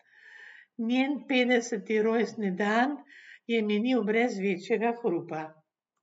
Njen petdeseti rojstni dan je minil brez večjega hrupa.